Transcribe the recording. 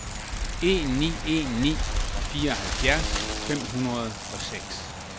en ni en ni fireoghalvfjerds fem hundrede og seks